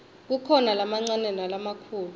kukhona lamancane nalamakhulu